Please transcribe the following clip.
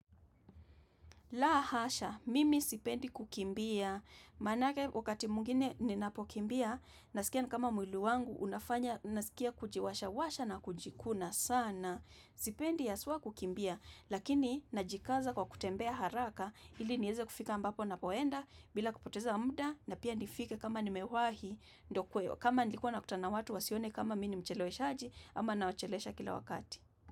La hasha, mimi sipendi kukimbia, manake wakati mwingine ninapokimbia, nasikia kama mwili wangu, unafanya, naskie kujiwasha washa na kujikuna sana. Sipendi haswa kukimbia, lakini najikaza kwa kutembea haraka, ili niweze kufika ambapo napoenda, bila kupoteza muda, na pia nifike kama nimewahi, ndokweo, kama nilikuwa nakutana na watu wasione kama Mimi mcheleweshaji, ama nawachelewesha kila wakati.